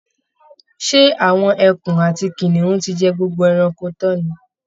Ṣé àwọn ẹkun àti kìnìún ti jẹ gbogbo ẹranko tán ni?